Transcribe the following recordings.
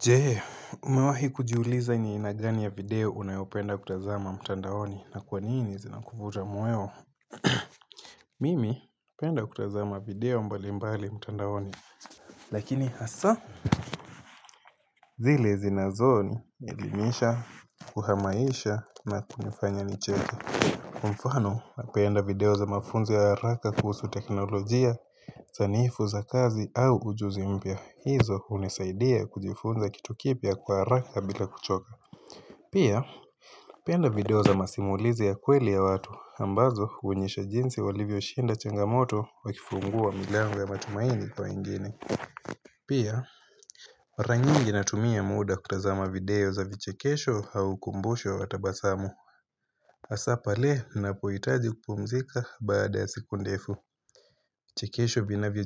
Jee umewahi kujiuliza ni aina gani ya video unayopenda kutazama mtandaoni na kwa nini zinakufuta mweo Mimi napenda kutazama video mbali mbali mtandaoni Lakini hasa zile zinazonielimisha, kuhamasisha na kunifanya nichewe mfano napenda video za mafunzo ya haraka kuhusu teknolojia, zanifu za kazi au ujuzi mpya Hivo unisaidia kujifunza kitu kipya kwa haraka bila kuchoka Pia, napenda video za masimulizi ya kweli ya watu ambazo huonyesha jinsi walivyo shinda changamoto Wakifungua milangu ya matumaini kwa wengine Pia, mara nyingi natumia muda kutazama video za vichekesho au ukumbusho wa watabasamu hasa pale napoitaji kupumzika baada ya siku ndefu Chekesho vina vio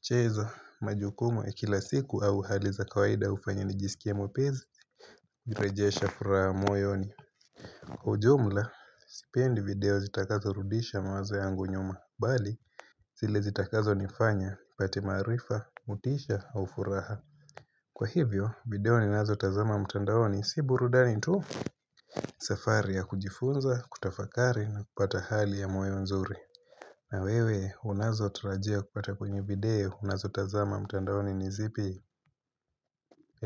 chezwa majukumu ya kila siku au hali za kawaida ufanya nijisikie mwepizi Virejesha furaa moyoni Kwa ujumla, sipendi video zitakazo rudisha mawazo yangu nyuma, bali zile zitakazo nifanya, nipate maarifa, motisha, au furaha Kwa hivyo, video ni nazo tazama mtandaoni, si burudani tu safari ya kujifunza, kutafakari, na kupata hali ya moyo nzuri na wewe, unazo atarajia kupata kwenye video unazo tazama mtandaoni nizipi,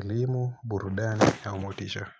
elimu, burudani, au motisha.